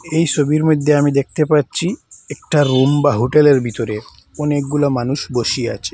এই ছবির মইধ্যে আমি দেখতে পাচ্ছি একটা রুম বা হোটেলের ভিতরে অনেকগুলা মানুষ বসি আছে।